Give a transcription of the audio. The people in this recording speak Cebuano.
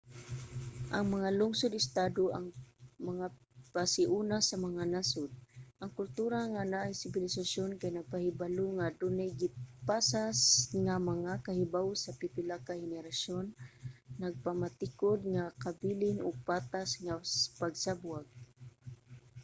ang mga lungsod-estado ang mga pasiuna sa mga nasod. ang kultura nga naay sibilisasyon kay nagpahibalo nga adunay gipasa nga mga kahibawo sa pipila ka henerasyon nagpamatikud nga kabilin ug patas nga pagsabwag